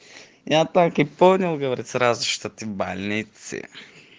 я так и понял говорит сразу что ты в больнице